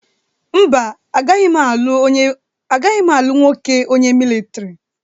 Mba, agaghị m alụ nwoke onye militọri.